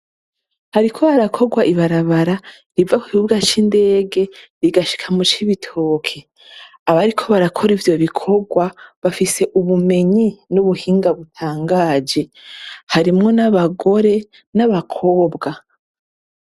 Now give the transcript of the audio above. Hariko harakorwa ibarabara riva kukibuga c'ndege rigashika mucibitoke abariko barakora ivyo bikorwa bafise ubumenyi n'ubuhinga butangaje harimwo abagore nabakobwa.